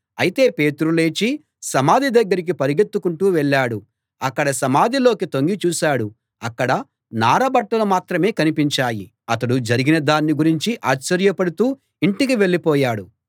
అయితే పేతురు లేచి సమాధి దగ్గరికి పరుగెత్తుకుంటూ వెళ్ళాడు అక్కడ సమాధిలోకి తొంగి చూశాడు అక్కడ నారబట్టలు మాత్రం కనిపించాయి అతడు జరిగిన దాన్ని గురించి ఆశ్చర్యపడుతూ ఇంటికి వెళ్ళిపోయాడు